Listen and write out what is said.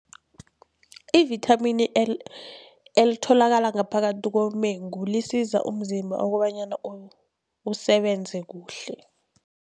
Ivithamini elitholakala ngaphakathi komengu lisiza umzimba kobanyana usebenze kuhle.